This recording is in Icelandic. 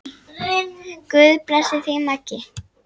Guð blessi þig, Maggi.